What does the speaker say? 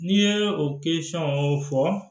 N'i ye o fɔ